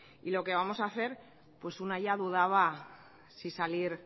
y lo que vamos a hacer pues una ya dudaba si salir